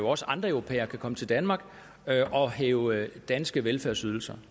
også andre europæere kan komme til danmark og hæve danske velfærdsydelser